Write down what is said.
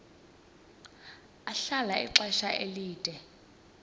ahlala ixesha elide